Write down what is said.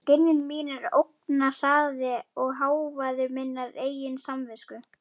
Skynjun mín er ógnarhraði og hávaði minnar eigin samvisku.